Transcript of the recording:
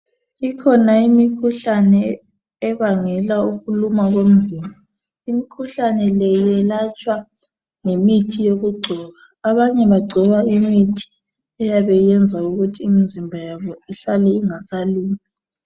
Ikhona imikhuhlane ebangela ukuluma komzimba imkhuhlane le iyelatshwa ngemithi yokugcoba abanye bagcoba imithi eyabe usenza ukuthi imzimba yabo ihlale ingasalumi.